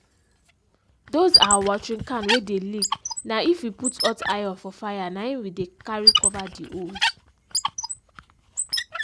those our watering can wey dey leak na if we put hot iron for fire na him we dey carry cover the holes.